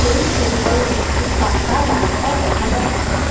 এই ছবিতে একটি পাকা রাস্তা দেখা যাচ্ছে ।